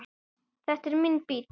Þetta er minn bíll.